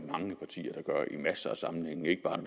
gør i masser af sammenhænge ikke bare